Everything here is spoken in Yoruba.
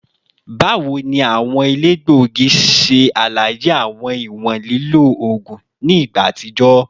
Bawo ni awọn elegbogi ṣe alaye awọn iwọn lilo oogun ni igba atijọ?